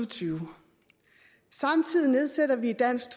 tyve samtidig nedsætter vi dansk